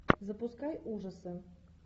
запускай ужасы